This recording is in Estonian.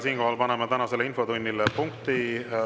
Siinkohal paneme tänasele infotunnile punkti.